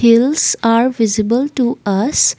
hills are visible to us.